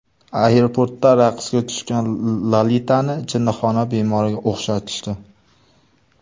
Aeroportda raqsga tushgan Lolitani jinnixona bemoriga o‘xshatishdi .